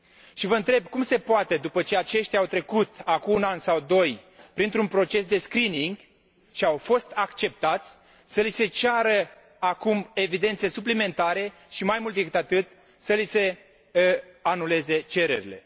Și vă întreb cum se poate, după ce aceștia au trecut acum un an sau doi printr un proces de g și au fost acceptați, să li se ceară acum evidențe suplimentare și, mai mult decât atât, să li se anuleze cererile?